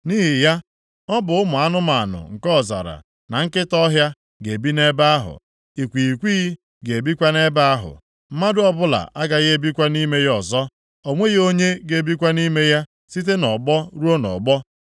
“Nʼihi ya, ọ bụ ụmụ anụmanụ nke ọzara, na nkịta ọhịa ga-ebi nʼebe ahụ. Ikwighịkwighị ga-ebikwa nʼebe ahụ. Mmadụ ọbụla agaghị ebikwa nʼime ya ọzọ. O nweghị onye ga-ebikwa nʼime ya site nʼọgbọ ruo nʼọgbọ.